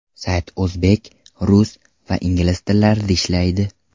Sayt o‘zbek, rus va ingliz tillarida ishlaydi.